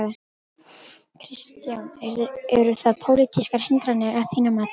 Kristján: Eru það pólitískar hindranir að þínu mati?